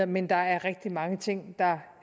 men der er rigtig mange ting der